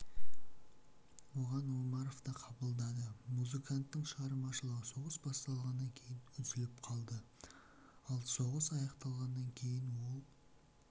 оған омаровты қабылдады музыканттың шығармашылығы соғыс басталғаннан кейін үзіліп қалды ал соғыс аяқталғаннан кейін ол